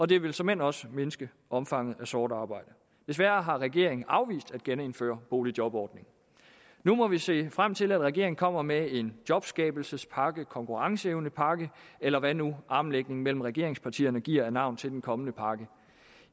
det vil såmænd også mindske omfanget af sort arbejde desværre har regeringen afvist at genindføre boligjobordningen nu må vi se frem til at regeringen kommer med en jobskabelsespakke konkurrenceevnepakke eller hvad nu armlægningen mellem regeringspartierne giver af navn til den kommende pakke